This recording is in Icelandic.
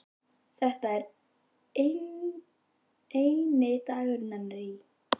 Þetta er eini dagur hennar í